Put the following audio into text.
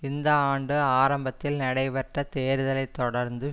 இந்த ஆண்டு ஆரம்பத்தில் நடைபெற்ற தேர்தலை தொடர்ந்து